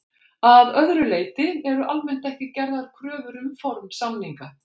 Að öðru leyti eru almennt ekki gerðar kröfur um form samninga.